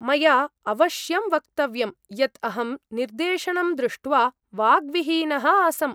मया अवश्यं वक्तव्यं यत् अहं निर्देशनम् दृष्ट्वा वाग्विहीनः आसम्।